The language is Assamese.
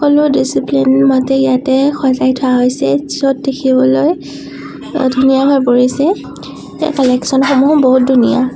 ছবিখনত ডিচিপ্লিন মতে ইয়াতে সজাই থোৱা হৈছে য'ত দেখিবলৈ ধুনীয়া হৈ পৰিছে ইয়াৰ কালেক্সন সমূহ বহুত ধুনীয়া।